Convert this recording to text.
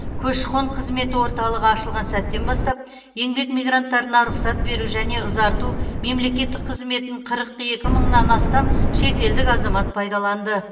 көші қон қызметі орталығы ашылған сәттен бастап еңбек мигранттарына рұқсат беру және ұзарту мемлекеттік қызметін қырық екі мыңнан астам шетелдік азамат пайдаланды